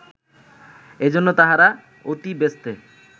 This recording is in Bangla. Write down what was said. এজন্য তাহারা অতিব্যস্তে